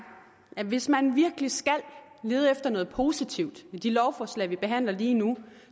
at hvis man virkelig skal lede efter noget positivt i de lovforslag vi behandler lige nu